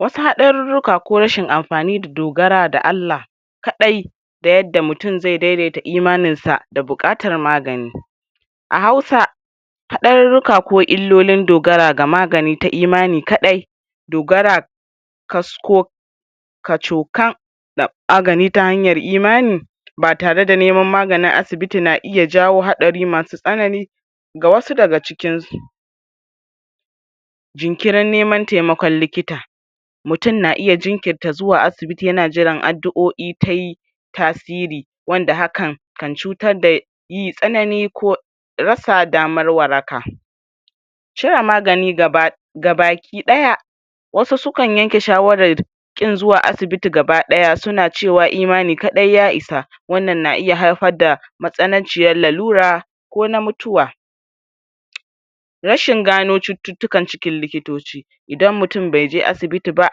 Wasu haɗaruruka ko rashin amfani da dogara da Allah kaɗai da yadda mutum ze daidaita imaninsa da bukatar magani a hausa haɗaruruka ko ilolin dogara ga maganin imani kaɗai dogara kasco kacokan da magani ta hanyar imani ba tare da neman maganin asibiti na iya jawo hatsari masu tsanani ga wasu daga cikin su jinkirin neman taimakon likita mtum na iya jinkintar zuwa asibiti yana jiran addu'oi tayi tasiri wanda hakan kan cutar da yin tsanani ko ko rasa damar waraka cire magani gaba gabaki ɗaya wasu sukan yanke shawarar kin zuwa asibiti gabadaya suna cewa imani kaɗai ya isa wannan na iya haifar da matsananciya lalura ko na mutuwa rashin gano cuttutukan cikin likitoci idan mutum bai je asibiti ba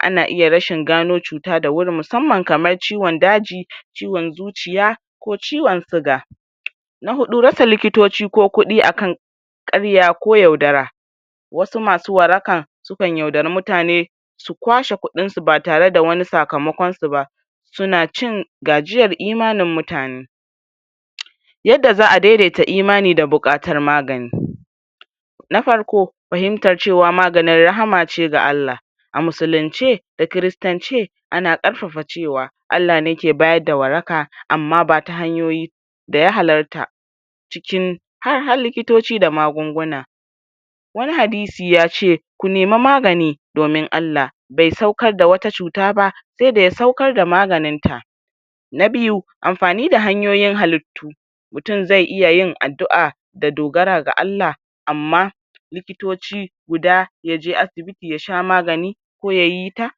ana iya rashin gano cuta da wuri musamman kamar ciwon daji, ciwon zuciya ko ciwon suga na huɗu rasa likitoci ko kuɗi akan karya ko yaudara wasu masu warakan sukan yaudari mutane su kwashe kuɗin su ba tare da wani sakamakonsu ba suna cin gajiyar imanin mutane yadda za'a daidaita imani da bukatar magani na farko fahimtar cewa magani rahama ce ga Allah a musulunce da kiristance ana karfafa cewa Allah ne ke bayar da waraka amma ba ta hanyoyi daya halarta cikin har likitoci da magunguna wani hadisi yace ku nema magani domin Allah be saukar da wata cuta ba se daya saukar da maganinta na biyu amfani da hanyoyin hallitu mtum zai iya yin addu'a da dogara ga allah amma likitoci guda yaje asibiti ya sha magani ko yayi ta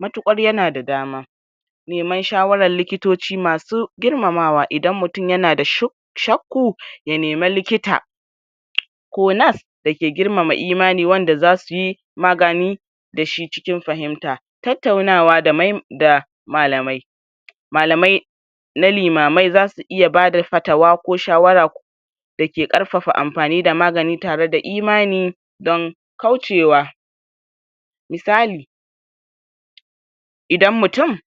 mutukar yana da dama neman shawaran likitoci masu girmamawa idan mtum yana da shu shaku ya nemi likita ko nas da ke girmama imani wanda za suyi magani da shi cikin fahimta tautaunawa da da malamai malamai na limamai zasu iya bada fatawa ko shawara ko da ke karfa amfani da magani tare da imani don kaucewa misali idan mutum.